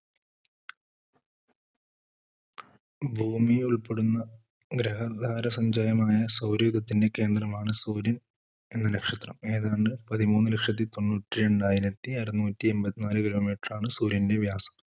ഭൂമിയെ ഉൾപ്പെടുന്ന ഗ്രഹധാര സഞ്ജയമായ സൗരയൂഥത്തിന്റെ കേന്ദ്രമാണ് സൂര്യൻ എന്ന നക്ഷത്രം. ഏതാണ്ട് പതിമൂന്ന് ലക്ഷത്തി തൊണ്ണൂറ്റി രണ്ടായിരത്തി അറുനൂറ്റിഎൺപത്തിനാല് Kilometer ആണ് സൂര്യന്റെ വ്യാസം.